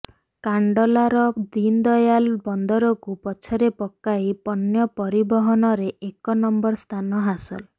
କାନଡଲାର ଦିନଦୟାଲ ବନ୍ଦରକୁ ପଛରେ ପକାଇ ପଣ୍ୟ ପରିବହନରେ ଏକ ନମ୍ବର ସ୍ଥାନ ହାସଲ